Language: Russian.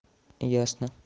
ясно